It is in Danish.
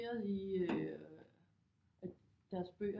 I øh deres bøger